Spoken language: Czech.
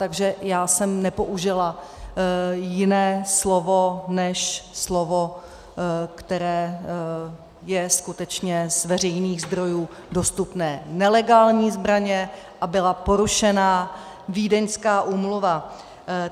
Takže já jsem nepoužila jiné slovo než slovo, které je skutečně z veřejných zdrojů dostupné - nelegální zbraně - a byla porušena Vídeňská úmluva.